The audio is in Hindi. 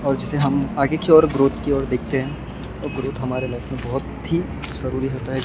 और जिसे हम आगे की ओर ग्रोथ की ओर देखते हैं और ग्रोथ हमारे लाइफ में बहुत ही जरूरी होता है।